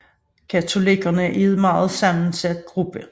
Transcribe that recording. Katolikkerne var en meget sammensat gruppe